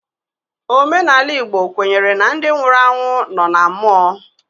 Omenala Igbo kwenyere na ndị nwụrụ anwụ nọ na mmụọ.